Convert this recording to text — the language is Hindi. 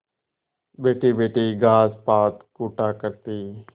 बैठीबैठी घास पात कूटा करती